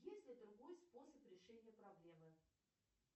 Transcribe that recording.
есть ли другой способ решения проблемы